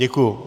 Děkuji.